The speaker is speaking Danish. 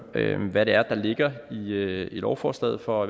hvad det er der ligger lovforslaget for